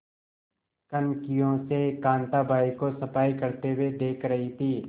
कनखियों से कांताबाई को सफाई करते हुए देख रही थी